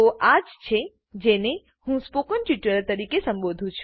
તો આજ છે જેને હું સ્પોકન ટ્યુટોરીયલ તરીકે સંબોધું છું